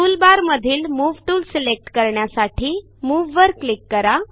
टूलबारमधील move tool select करण्यासाठी Moveवर click करा